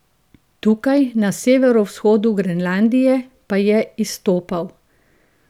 Tukaj na severovzhodu Grenlandije pa je izstopal.